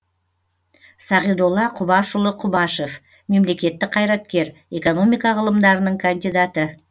сағидолла құбашұлы құбашев мемлекеттік қайраткер экономика ғылымдарының кандидаты